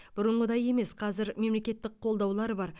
бұрынғыдай емес қазір мемлекеттік қолдаулар бар